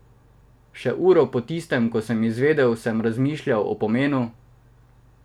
Še uro po tistem, ko sem izvedel, sem razmišljal o pomenu.